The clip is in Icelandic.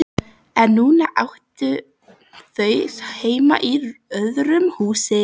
En núna áttu þau heima í öðru húsi.